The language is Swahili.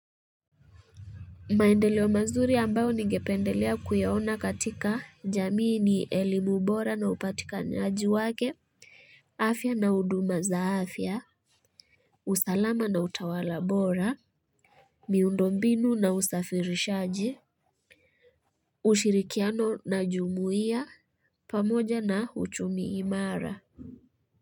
Maendeleo mazuri ambayo nigependelea kuyaona katika jamii ni elimu bora na upatikanaji wake. Afya na huduma za afya usalama na utawala bora miundombinu na usafirishaji ushirikiano na jumuia pamoja na uchumi imara.